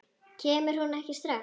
Kemur hún ekki strax?